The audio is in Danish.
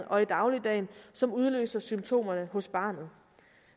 og i dagligdagen og som udløser symptomerne hos barnet